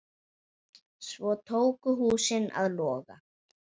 Svo tóku húsin að loga.